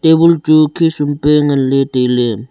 tabul chu khisum pe nganley tailey.